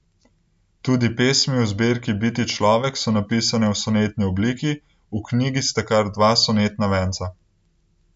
Tudi pesmi v zbirki Biti človek so napisane v sonetni obliki, v knjigi sta kar dva sonetna venca.